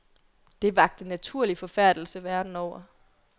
Det vakte naturlig forfærdelse verden over.